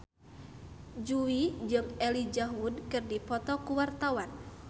Jui jeung Elijah Wood keur dipoto ku wartawan